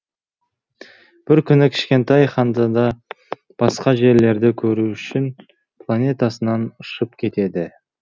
бір күні кішкентай ханзада басқа жерлерді көру үшін планетасынан ұшып кетеді